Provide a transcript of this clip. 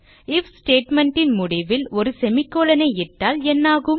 if statement ன் முடிவில் ஒரு செமிகோலன் ஐ இட்டால் என்னாகும்